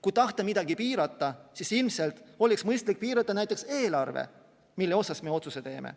Kui tahta midagi piirata, siis ilmselt oleks mõistlik piirata näiteks eelarvet, mille raames me otsuse teeme.